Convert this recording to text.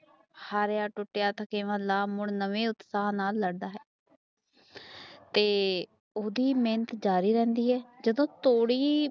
ਹਰ ਟੂਟੀਆਂ ਥਾਕਿਵਾ ਲਾਵ ਮੁੜ ਨਵੇਂ ਉਤਪਹਾਂ ਲੜਦਾ ਹੈ ਤੇ ਉਸਦੀ ਮਿਹਨਤ ਜਾਰੀ ਰਹਦੀ ਹੈ ਜਦੋ ਤੋੜੀ